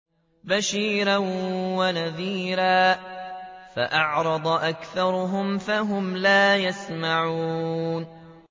بَشِيرًا وَنَذِيرًا فَأَعْرَضَ أَكْثَرُهُمْ فَهُمْ لَا يَسْمَعُونَ